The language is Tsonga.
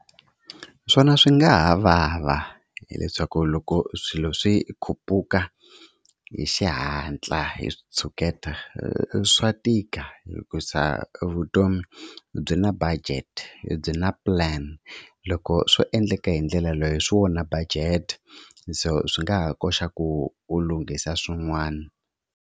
Swona swi nga ha vava, hileswaku loko swilo swi khuphuka hi xihatla hi xitshuketa swa tika hikuza vutomi byi na budget byi na plan. Loko swo endleka hi ndlela leyi swi onha budget so swi nga ha koxa ku u lunghisa swin'wani